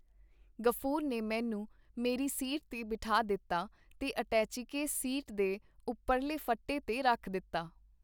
ਗ਼ਫੂਰ ਨੇ ਮੈਨੂੰ ਮੇਰੀ ਸੀਟ ਤੇ ਬਿਠਾ ਦਿੱਤਾ ਤੇ ਅਟੈਚੀਕੇਸ ਸੀਟ ਤੇ ਓਪਰਲੇ ਫੱਟੇ ਤੇ ਰੱਖ ਦਿੱਤਾ.